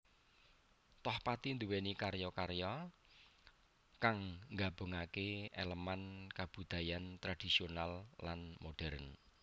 Tohpati nduwèni karya karya kang nggabungaké èlemèn kabudayan tradhisional lan modhèrn